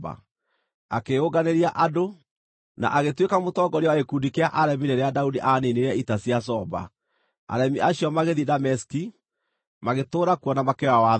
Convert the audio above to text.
Akĩĩyũnganĩria andũ, na agĩtuĩka mũtongoria wa gĩkundi kĩa aremi rĩrĩa Daudi aaniinire ita cia Zoba; aremi acio magĩthiĩ Dameski, magĩtũũra kuo, na makĩoya wathani.